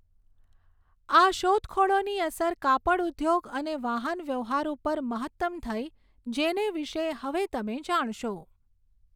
આ શોધખોળોની અસર કાપડઉદ્યોગ અને વાહનવ્યવહાર ઉપર મહત્તમ થઈ જેને વિશે હવે તમે જાણશો.